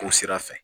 K'o sira fɛ